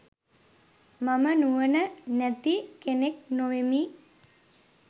මම නුවණ නැති කෙනෙක්‌ නොවෙමි.